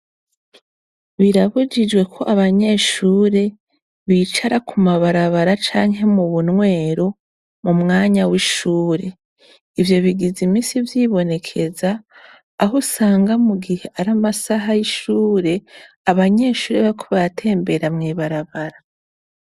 Birabujijwe ko abanyeshure bicara ku mabarabara canke mu bunwero mu mwanya w'ishure. Ivyo bigize iminsi vyibonekeza, aho usanga mu gihe ari amasaha y'ishure abanyeshure bariko baratembera mw'ibarabara.